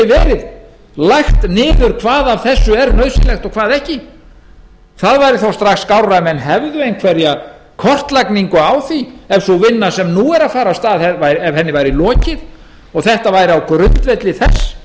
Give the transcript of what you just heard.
verið lagt niður hvað af þessu er nauðsynlegt og hvað ekki það væri þó strax skárra ef menn hefðu einhverja kortlagningu á því ef þeirri vinnu sem nú er að fara af stað væri lokið og þetta væri á grundvelli þess